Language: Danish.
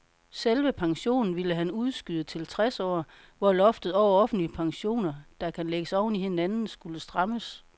Selve pensionen ville han udskyde til tres år, hvor loftet over offentlige pensioner, der kan lægges oven i hinanden, skulle strammes.